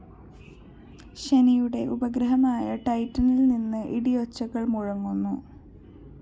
ശനിയുടെ ഉപഗ്രഹമായ ടൈറ്റനില്‍ നിന്ന് ഇടിയൊച്ചകള്‍ മുടങ്ങുന്നു